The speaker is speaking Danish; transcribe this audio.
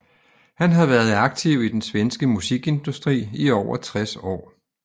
Han har været aktiv i den svenske musikindustri i over 60 år